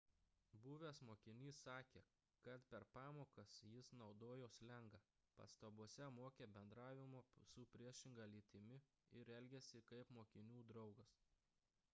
buvęs mokinys sakė kad per pamokas jis naudojo slengą pastabose mokė bendravimo su priešinga lytimi ir elgėsi kaip mokinių draugas